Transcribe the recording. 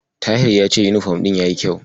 Tahir ya ce yunifom ɗin yayi kyau.